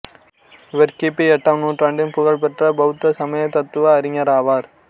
இவர் கி பி எட்டாம் நூற்றாண்டின் புகழ் பெற்ற பௌத்த சமயத் தத்துவ அறிஞர் ஆவார்